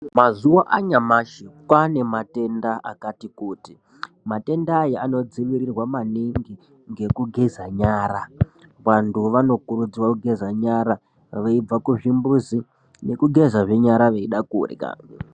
Mazuva anyamashi kwaanematenda akati kuti. Matenda aya anodzivirirwa maningi ngekugeza nyara. Vantu vanokurudzirwa kugeza nyara veibva kuzvimbuzi, nekugezazve nyara veida kurya.